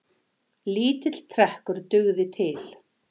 Lítill trekkur dugði til.